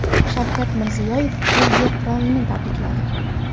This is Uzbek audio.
Shavkat Mirziyoyev Belgiya qirolini tabrikladi.